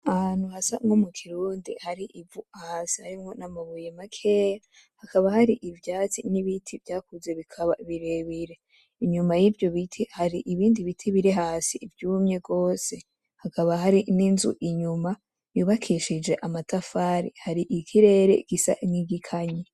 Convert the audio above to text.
Ahantu hasa nkomukirundi hari ivu hasi hariho n'amabuye makeya, hakaba hari ivyatsi n'ibiti vyakuze bikaba birebire. Inyuma yivyo biti ,hari ibindi biti birihasi vyumye gose, hakaba hari n'inzu inyuma yubakishije amatafari hari ikirere gisa nigikanye.